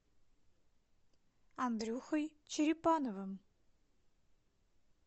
андрюхой черепановым